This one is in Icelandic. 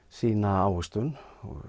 sýna ávöxtun